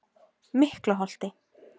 Miklaholti